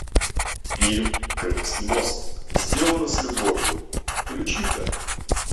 фильм крымский мост сделано с любовью включи ка